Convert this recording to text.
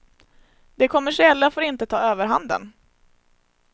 Det kommersiella får inte ta överhanden.